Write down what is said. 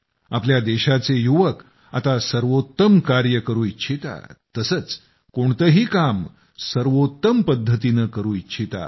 आपल्या देशाचे युवक आता सर्वोत्तम कार्य करू इच्छितात तसंच कोणतंही काम सर्वोत्तम पद्धतीनं करू इच्छितात